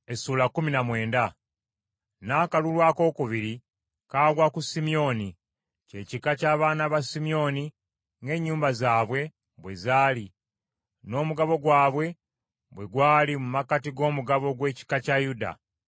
N’akalulu akookubiri kaagwa ku Simyoni, kye kika ky’abaana ba Simyoni ng’ennyumba zaabwe bwe zaali n’omugabo gwabwe bwe gwali mu makkati g’omugabo gw’ekika kya Yuda.